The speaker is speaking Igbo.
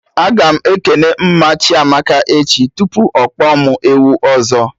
Aga m ekene mma Chiamaka echi tupu ọkpọ mụ ewu ọzọ